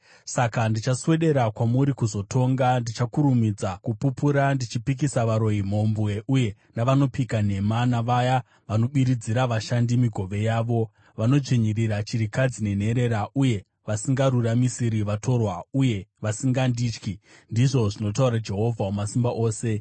“Saka ndichaswedera kwamuri kuzotonga. Ndichakurumidza kupupura ndichipikisa varoyi, mhombwe uye navanopika nhema, navaya vanobiridzira vashandi migove yavo, vanodzvinyirira chirikadzi nenherera uye vasingaruramisiri vatorwa, uye vasingandityi,” ndizvo zvinotaura Jehovha Wamasimba Ose.